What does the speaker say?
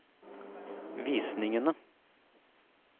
visningene